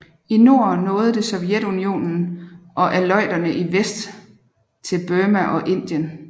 I nord nåede det Sovjetunionen og Aleuterne i vest til Burma og Indien